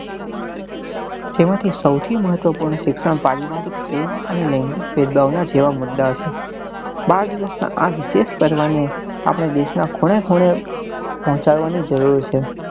જેમાં થી સૌથી મહત્વ પૂર્ણ શિક્ષણ પારિવારિક પ્રેમ અને લૈંગીક જેવા મુદ્દા છે બાળ દિવસ નાં આ વિશેષ પર્વ ને આપડે દેશ નાં ખૂણેને ખૂણે પહોચાડવા ની જરૂર છે